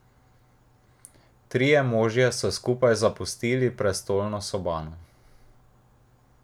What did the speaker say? Trije možje so skupaj zapustili prestolno sobano.